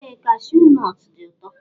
Ee kashuu nọt dị ụtọ.